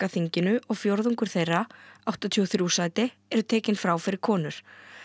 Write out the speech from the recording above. þinginu og fjórðungur þeirra áttatíu og þrjú sæti eru tekin frá fyrir konur